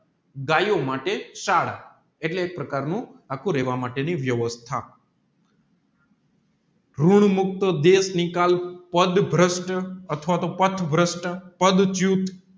ગયો માટે શાળા એટલે ગાયો માટે આખું રેહવાનું વેવસ્થા મુક્ત દેશ નિકાલ પદ્ય બ્રષ્ટ અથવા તો પાથ બ્રષ્ટ પઢ